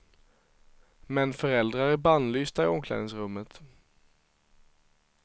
Men föräldrar är bannlysta i omklädningsrummet.